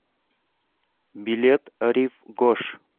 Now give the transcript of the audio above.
билет рив гош